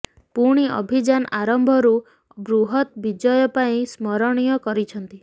ପୁଣି ଅଭିଯାନ ଆରମ୍ଭରୁ ବୃହତ୍ ବିଜୟ ପାଇଁ ସ୍ମରଣୀୟ କରିଛନ୍ତି